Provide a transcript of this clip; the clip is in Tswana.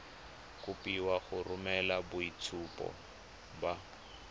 kopiwa go romela boitshupo ba